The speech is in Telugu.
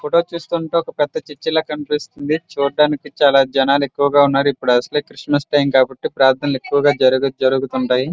ఫోటో చూస్తుంటే ఒక పెద్ద చర్చి ల కనిపిస్తుంది. చూట్టానికి చాల జనాలు ఎక్కువగా ఉన్నారు. ఇప్పుడు అసలే క్రిస్మస్ టైం కాబట్టి ప్రదానాలు ఎక్కువగా జరుగుతూ ఉంటాయి.